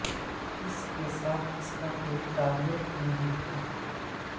اس کے ساتھ اس کا کوئی تعلق نہیں تھا